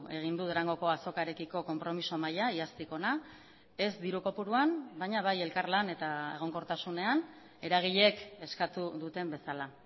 egin du durangoko azokarekiko konpromiso maila iaztik ona ez diru kopuruan baina bai elkarlan eta egonkortasunean eragileek eskatu duten bezala